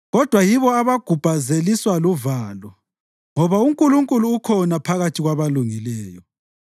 Kodwa yibo abagubhazeliswa luvalo ngoba uNkulunkulu ukhona phakathi kwabalungileyo.